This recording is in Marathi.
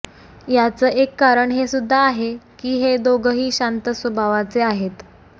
याचं एक कारण हे सुद्धा आहे की हे दोघंही शांत स्वभावाचे आहेत